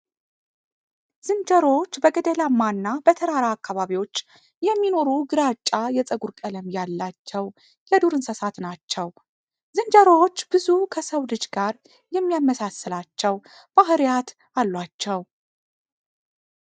ዝንጀሮዎች በገደላማ እና በተራራ አካባቢዎች የሚኖሩ ግራጫ የፀጉር ቀለም ያላቸው የዱር እንስሳት ናቸው። ዝንጀሮዎች ብዙ ከሰው ልጅ ጋር የሚያመሳስላቸው ባህርያት አሏቸው ።